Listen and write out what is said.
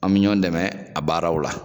An mi ɲɔn dɛmɛ a baaraw la.